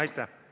Aitäh!